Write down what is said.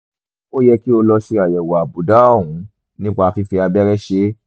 ó yẹ kí o lọ ṣe àyẹ̀wò àbùdá ọ̀hún nípa fífi abẹ́rẹ́ ṣe é